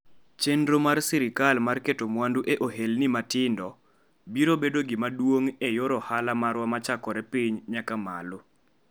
Chenro mar sirkal mar keto mwandu e ohelni matindo biro bedo gima duong' e yor ohala marwa ma chakore piny nyaka malo".